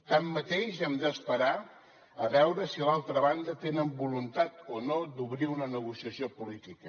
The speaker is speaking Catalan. tanmateix hem d’esperar a veure si a l’altra banda tenen voluntat o no d’obrir una negociació política